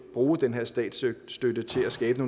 bruge den her statsstøtte til at skabe